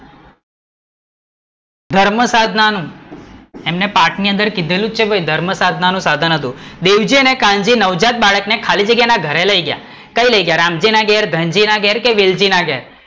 ધર્મસાધના નું એંમને પાઠ ની અંદર કીધેલું જ છે ભાઈ ધર્મસાધના નું સાધન હતું. દેવજી અને કાન્જી નવજાત બાળક ને ખાલી જગ્યા ના ઘરે લઇ ગયા, કઈ લઇ ગયા રામજી ના ઘરે, ધનજી ના ઘરે, વેલજી ના ઘરે?